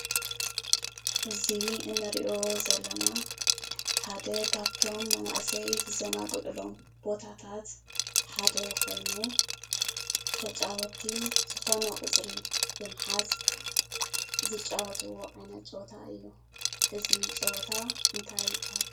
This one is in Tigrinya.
እዚ ንሪኦ ዘለና ሓደ ካብቶም መናእሰይ ዝዘናግዕሎም ቦታታት ሓደ ኾይኑ ተጫወቲ ዝኾነ ቁፅሪ ብምሓዝ ቁፅሪ ዝፃወቱዎ ዓይነት ፀዋታ እዩ፡፡ እዚ ፀወታ እንታይ ይባሃል?